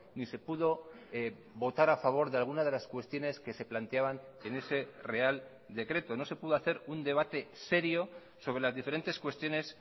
ni se pudo votar a favor de alguna de las cuestiones que se planteaban en ese real decreto no se pudo hacer un debate serio sobre las diferentes cuestiones